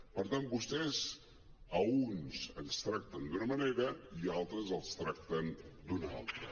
per tant vostès a uns ens tracten d’una manera i a altres els tracten d’una altra